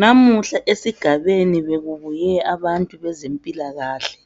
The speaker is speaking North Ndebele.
Namuhla esigabeni bekubuye abantu bezempilakahle